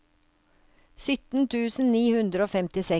sytten tusen ni hundre og femtiseks